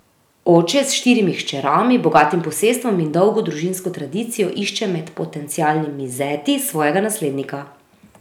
Oče s štirimi hčerami, bogatim posestvom in dolgo družinsko tradicijo išče med potencialnimi zeti svojega naslednika.